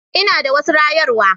Ina da wasu rayarwa.